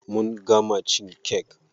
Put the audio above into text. Mun gama cin kek.